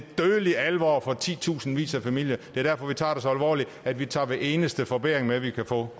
dødelig alvor for titusindvis af familier det er derfor vi tager det så alvorligt at vi tager hver eneste forbedring vi kan få